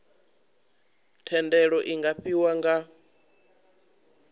thendelo iu nga fhiwa nga